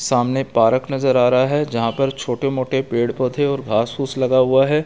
सामने एक पारक नजर आ रहा है जहाँ पर छोटे मोटे पेड़ पौधे और घास-फूस लगा हुआ है।